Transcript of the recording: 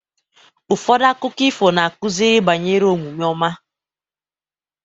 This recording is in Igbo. Ụfọdụ akụkọ ifo na-akụzi banyere omume ọma.